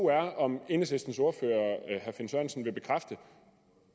er om enhedslistens ordfører herre finn sørensen vil bekræfte